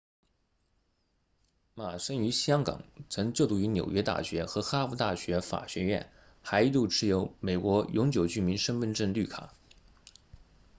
马生于香港曾就读于纽约大学和哈佛大学法学院还一度持有美国永久居民身份证绿卡